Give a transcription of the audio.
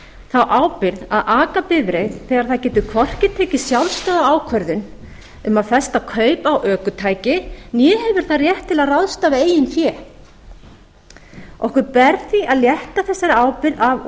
þá ábyrgð að aka bifreið þegar það getur hvorki tekið sjálfstæða ákvörðun um að festa kaup á ökutæki né hefur þann rétt til að ráðstafa eigin fé okkur ber því að létta þessari ábyrgð á unglingum